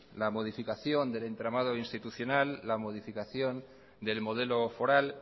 la modificación del entramado institucional la modificación del modelo foral